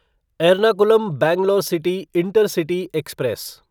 Ernakulam Bangalore city intercity express